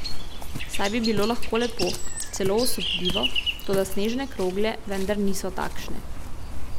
Saj bi bilo lahko lepo, celo osupljivo, toda snežne krogle vendar niso takšne.